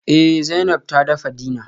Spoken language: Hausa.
Eh Zainab ta dafa dinner